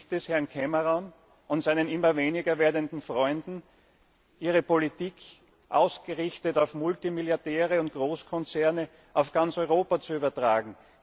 Da gelingt es Herrn Cameron und seinen immer weniger werdenden Freunden, ihre Politik, ausgerichtet auf Multimilliardäre und Großkonzerne, auf ganz Europa zu übertragen.